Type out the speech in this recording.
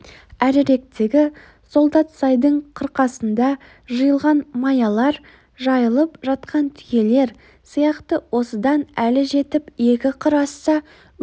әріректегі солдатсайдың қырқасында жиылған маялар жайылып жатқан түйелер сияқты осыдан әлі жетіп екі қыр асса өз